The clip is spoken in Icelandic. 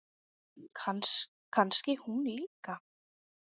Kannski hún líka?